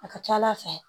A ka ca ala fɛ